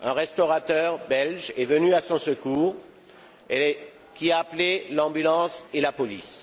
qu'un restaurateur belge est venu à son secours et a appelé l'ambulance et la police.